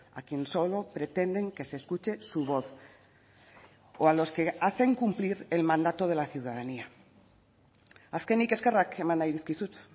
a quien solo pretenden que se escuche su voz o a los que hacen cumplir el mandato de la ciudadanía azkenik eskerrak eman nahi dizkizut